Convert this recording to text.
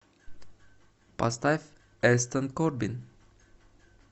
поставь эстон корбин